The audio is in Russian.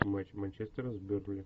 матч манчестера с бернли